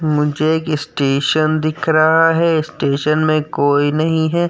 मुझे एक स्टेशन दिख रहा है। स्टेशन मे कोई नहीं है।